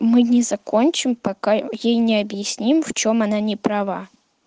мы не закончим пока ей не объясним в чём она не права